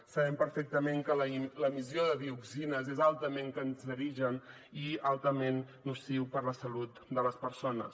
sabem perfectament que l’emissió de dioxines és altament cancerígena i altament nociva per a la salut de les persones